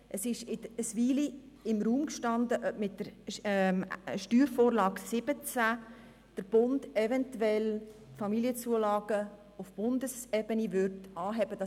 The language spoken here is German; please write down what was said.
Es stand im Raum, ob der Bund mit der Steuervorlage 2017 (SV17) eventuell die Familienzulagen auf Bundeseben anheben würde.